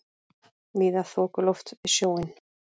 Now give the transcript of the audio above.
Víða þokuloft við sjóinn